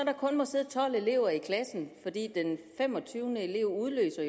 kun må sidde tolv elever i klassen fordi den femogtyvende elev jo udløser